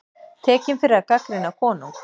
Tekinn fyrir að gagnrýna konung